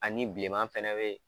Ani biLleman fɛnɛ be yen.